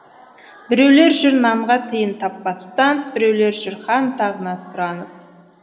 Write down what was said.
біреулер жүр нанға тиын таппастан біреулер жүр хан тағына сұранып